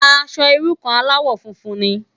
Aṣò irú kàn álàwò fúnfún ni